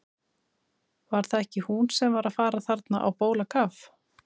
Var það ekki hún sem var að fara þarna á bólakaf?